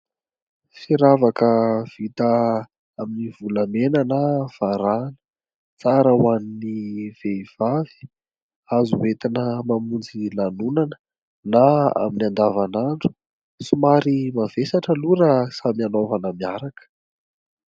Firavaka vita amin'ny volamena na varahina. Tsara ho an'ny vehivavy, azo hoentina mamonjy lanonana na amin'ny andavanandro somary mavesatra aloha raha samy hanaovana miaraka.